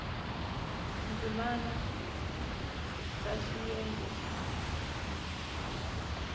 ndzimana b ya xiyenge xa